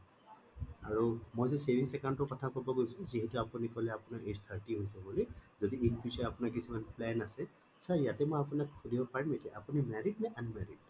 আৰু মই যে savings account টোৰ কথা কব গৈছো যিহেটো আপুনি কলে আপোনাৰ age thirty হৈছে বুলি যদি in future আপোনাৰ কিছুমান plan আছে sir ইয়াতে মই আপোনাক সুধিব পাৰিম নেকি আপুনি married নে unmarried